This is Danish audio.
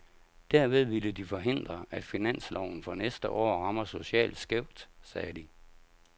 Derved ville de forhindre, at finansloven for næste år rammer socialt skævt, sagde de.